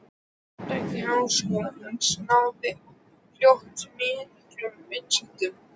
Happdrætti Háskólans náði fljótt miklum vinsældum.